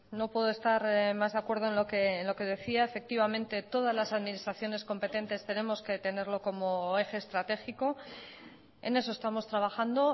no puedo estar más de acuerdo en lo que decía efectivamente todas las administraciones competentes tenemos que tenerlo como eje estratégico en eso estamos trabajando